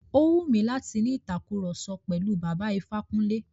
Ó wù mí láti ni ìtàkurọ̀sọ pẹ̀lú Bàbá Ifákúnlé.